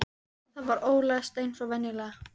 Það var ólæst eins og venjulega.